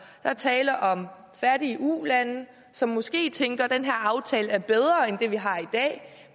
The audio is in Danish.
er tale om fattige ulande som måske tænker at den her aftale er bedre end det de har i dag